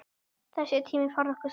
Þessi tími færði okkur saman.